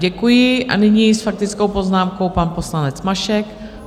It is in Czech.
Děkuji a nyní s faktickou poznámkou pan poslanec Mašek.